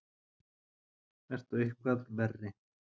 Ertu eitthvað verri?